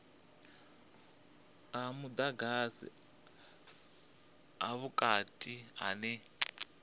a mudagasi a vhukati ane